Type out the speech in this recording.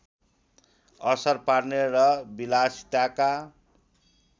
असर पार्ने र विलासिताका